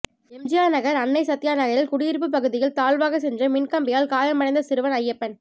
எம்ஜிஆர் நகர் அன்னை சத்யா நகரில் குடியிருப்பு பகுதியில் தாழ்வாக சென்ற மின்கம்பியால் காயம் அடைந்த சிறுவன் ஐயப்பன்